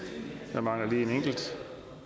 der mangler lige en enkelt